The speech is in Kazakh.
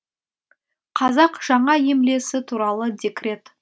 қазақ жаңа емлесі туралы декрет